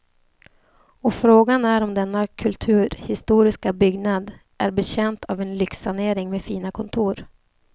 Och frågan är om denna kulturhistoriska byggnad är betjänt av en lyxsanering med fina kontor.